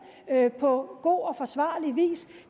på god og forsvarlig vis